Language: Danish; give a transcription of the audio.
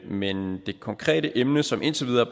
men det konkrete emne som indtil videre